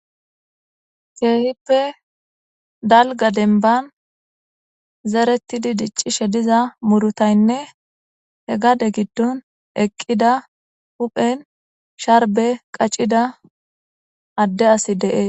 Keehippe dalga denban zeretidi diccishe diza murutaynne he gade giddon eqqida huphen sharbe qaccida adde asi deees.